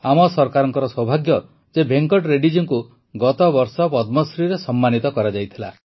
ଆମ ସରକାରର ସୌଭାଗ୍ୟ ଯେ ଭେଙ୍କଟ ରେଡ୍ଡୀ ଜୀଙ୍କୁ ଗତବର୍ଷ ପଦ୍ମଶ୍ରୀରେ ସମ୍ମାନିତ କରାଯାଇଥିଲା